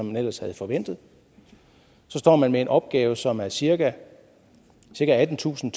man ellers havde forventet så står man med en opgave som er cirka attentusind